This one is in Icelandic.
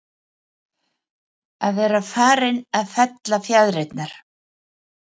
Að vera farinn að fella fjaðrirnar